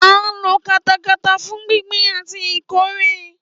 À ń lo katakata fún gbíngbìn àti ìkórè